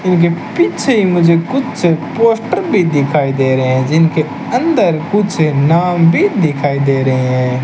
उनके पीछे मुझे कुछ पोस्टर भी दिखाई दे रहे हैं जिनके अंदर कुछ नाम भी दिखाई दे रहे हैं।